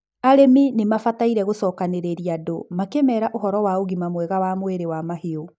arĩmi nimabataire gũbaga gũcokanirĩria andũ makĩmera ũhoro wa ũgima mwega wa mwĩrĩ wa mahiũ